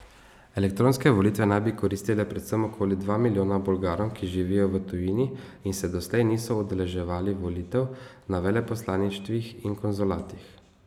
Elektronske volitve naj bi koristile predvsem okoli dva milijona Bolgarom, ki živijo v tujini in se doslej niso udeleževali volitev na veleposlaništvih in konzulatih.